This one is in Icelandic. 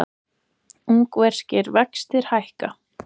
Ungverskir vextir hækka